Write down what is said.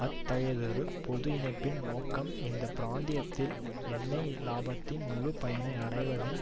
அத்தகையதொரு பொது இணைப்பின் நோக்கம் இந்த பிராந்தியத்தில் எண்ணெய் இலாபத்தின் முழு பயனை அடைவதும்